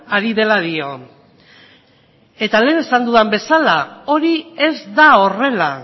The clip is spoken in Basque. ari dela dio eta lehen esan dudan bezala hori ez da horrela